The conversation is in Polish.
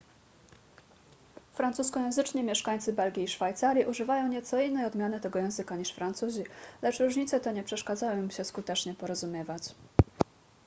francuskojęzyczni mieszkańcy belgii i szwajcarii używają nieco innej odmiany tego języka niż francuzi lecz różnice te nie przeszkadzają im się skutecznie porozumiewać